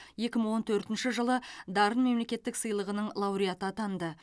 екі мың он төртінші жылы дарын мемлекеттік сыйлығының лауреаты атанды